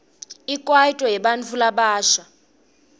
ikwaito yebantfu labasha